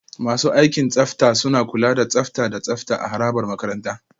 Masu aikin tsafta suna kula da tsafta da tsafta a harabar makaranta.